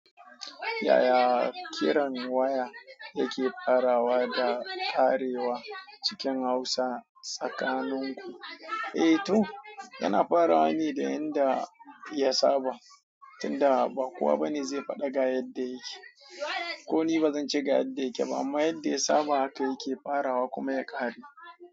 Yaya kiran waya yake faraws da karewa cikin Hausa tsakanin ku. Eh to yana farawa ne da yanda ya saba, tunda ba kowa bane zai faɗa ga yadda yake. Ko ni bazan ci gaba yadda yake ba, amma yadda ya saba haka yake farawa kuma ya kare.